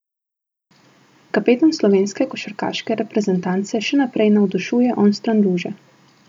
Kapetan slovenske košarkarske reprezentance še naprej navdušuje onstran luže!